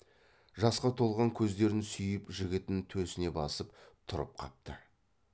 жасқа толған көздерін сүйіп жігітін төсіне басып тұрып қапты